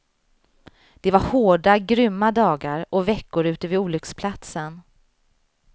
Det var hårda, grymma dagar och veckor ute vid olycksplatsen.